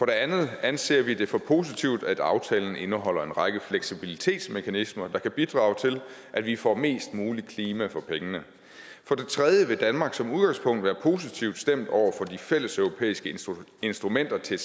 det andet anser vi det for positivt at aftalen indeholder en række fleksibilitetsmekanismer der kan bidrage til at vi får mest muligt klima for pengene for det tredje vil danmark som udgangspunkt være positivt stemt over for de fælleseuropæiske instrumenter til